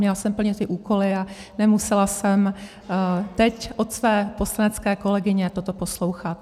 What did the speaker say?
Měla jsem plnit ty úkoly a nemusela jsem teď od své poslanecké kolegyně toto poslouchat.